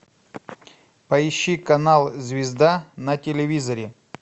поищи канал звезда на телевизоре